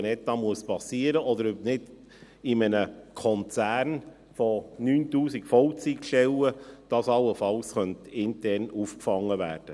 Kann dies in einem Konzern mit 9000 Vollzeitstellen allenfalls intern aufgefangen werden?